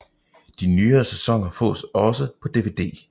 De nyere sæsoner fås også på DVD